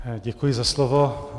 Děkuji za slovo.